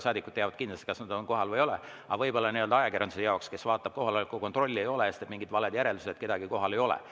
Saadikud teavad kindlasti, kas nad on kohal või ei ole, aga võib-olla ajakirjandus, kes vaatab, et kohaloleku kontrolli ei ole, teeb mingid valed järeldused, et kedagi kohal ei ole.